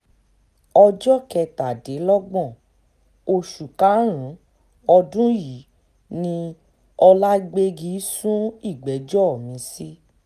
ọjọ́ kẹtàdínlọ́gbọ̀n oṣù karùn-ún ọdún yìí ni ọ̀làgbégi sún ìgbẹ́jọ́ mi-ín sí